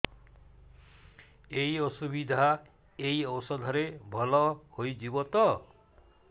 ଏଇ ଅସୁବିଧା ଏଇ ଔଷଧ ରେ ଭଲ ହେଇଯିବ ତ